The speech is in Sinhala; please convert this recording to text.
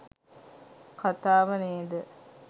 කතාව නේද?